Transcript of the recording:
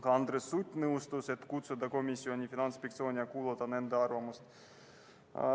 Ka Andres Sutt nõustus, et komisjoni tuleks kutsuda Finantsinspektsioon ja kuulata ära nende arvamus.